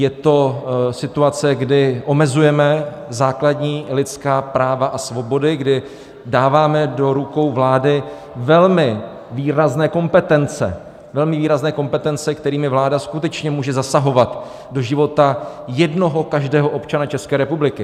Je to situace, kdy omezujeme základní lidská práva a svobody, kdy dáváme do rukou vlády velmi výrazné kompetence, velmi výrazné kompetence, kterými vláda skutečně může zasahovat do života jednoho každého občana České republiky.